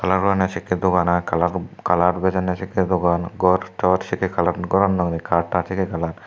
kalar gorondey sekkey dokan i kalar kalar bejondey sekkey dokan gor tor sekkey kalar gorano cut tat sekkey kalar.